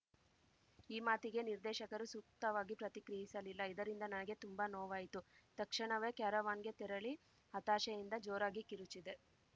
ಈ ಮಾತಿಗೆ ನಿರ್ದೇಶಕರು ಸೂಕ್ತವಾಗಿ ಪ್ರತಿಕ್ರಿಯಿಸಲಿಲ್ಲ ಇದರಿಂದ ನನಗೆ ತುಂಬಾ ನೋವಾಯಿತು ತಕ್ಷಣವೇ ಕ್ಯಾರವಾನ್‌ಗೆ ತೆರಳಿ ಹತಾಶೆಯಿಂದ ಜೋರಾಗಿ ಕಿರುಚಿದೆ